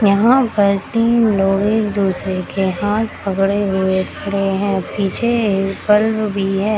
यहाँ पर तीन लोग एक-दूसरे के हाथ पकड़े हुए खड़े है पीछे एक बल्ब भी है।